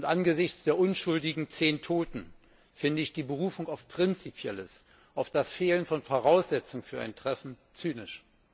Angesichts der unschuldigen zehn Toten finde ich die Berufung auf Prinzipielles, auf das Fehlen von Voraussetzungen für ein Treffen, zynisch.